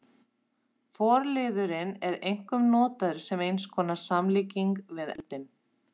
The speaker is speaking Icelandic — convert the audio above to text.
Forliðurinn er einkum notaður sem eins konar samlíking við eldinn.